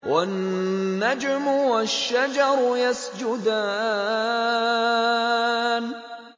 وَالنَّجْمُ وَالشَّجَرُ يَسْجُدَانِ